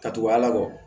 Ka tugu a kɔ